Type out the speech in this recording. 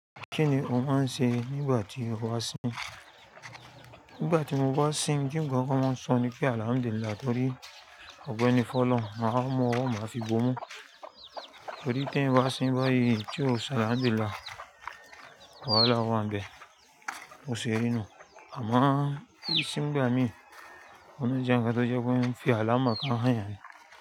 Kíni ó máa ń ṣe nígbà tí ó bá sin? Ngbà tí mo bá sin, n tí n gbo pe wọ́n ń sọ ni pe àlàhamdulilah, torí ọ̀pẹ́ni fun ọlohun máa wa mú ọwọ́, máa fi bó mú. Torí tí n bá sin báyìí tí ò sọ àlàhamdulilah, wàhálà wà n bẹ́, bò sì rí nú. Àmo kí n sin ngbá mi, ó le jẹ́ nnkán tó jẹ́ pé fí àlàhumákmáhányan.